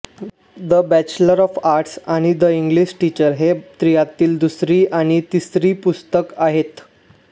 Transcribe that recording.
the bachelor of arts आणि the English teacher ही त्रयीतील दुसरी आणि तिसरी पुस्तके आहेत